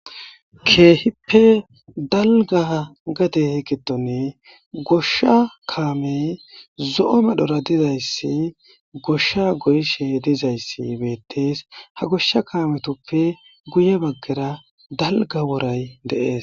keehippe dalga gade giddoni goshsha kaamey zo'o medhora dizayssi goshsha goyshe dizayssi beettees ha goshsha kaametoppe guye baggera dalga woray dee'es